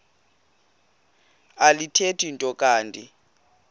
alithethi nto kanti